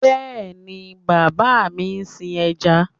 Yes, my father riases fishes